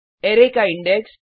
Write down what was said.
array का index